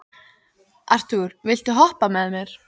Arthúr, viltu hoppa með mér?